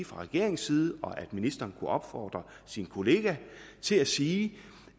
fra regeringens side kunne og at ministeren kunne opfordre sin kollega til at sige